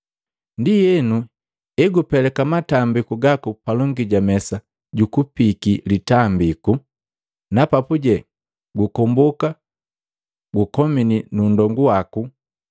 “Ndienu, egupeleka matambiku gaku palongi ja mesa jukupiiki litambiku na papuje gukomboka gukomini nu nndongu waku,